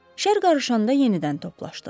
Şər qarışanda yenidən toplaşdıq.